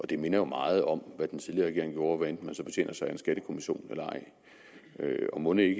det minder jo meget om hvad den tidligere regering gjorde hvad enten man så betjener sig af en skattekommission eller ej og mon ikke